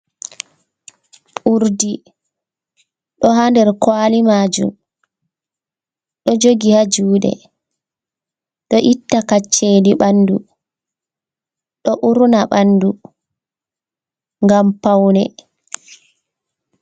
Urdi ɗo ha nder kwali majum, ɗo jogi ha juɗe, ɗo itta kaccedi bandu, ɗo urna ɓandu, ngam paune.